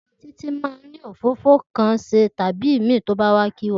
Títì mà ń ni òfófó kàn sẹ tàbí ìmí tóbà wà kíwà